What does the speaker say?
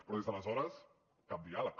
però des d’aleshores cap diàleg